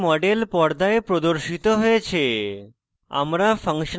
propane propane এর model পর্দায় প্রদর্শিত হয়েছে